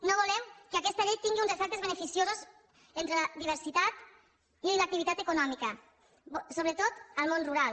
no volem que aquesta llei tingui uns efectes beneficiosos entre la diversitat i l’activitat econòmica sobretot en el món rural